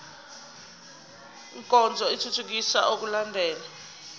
nkonzo ithuthukisa ukulandelwa